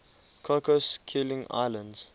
cocos keeling islands